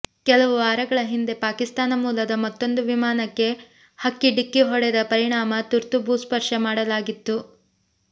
ಕೆಲವು ವಾರಗಳ ಹಿಂದೆ ಪಾಕಿಸ್ತಾನ ಮೂಲದ ಮತ್ತೊಂದು ವಿಮಾನಕ್ಕೆ ಹಕ್ಕಿ ಡಿಕ್ಕಿ ಹೊಡೆದ ಪರಿಣಾಮ ತುರ್ತು ಭೂಸ್ಪರ್ಶ ಮಾಡಲಾಗಿತ್ತು